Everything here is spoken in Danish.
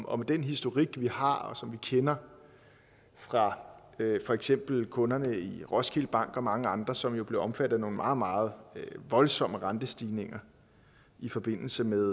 den historik vi har og som vi kender fra for eksempel kunderne i roskilde bank og mange andre som jo blev omfattet af nogle meget meget voldsomme rentestigninger i forbindelse med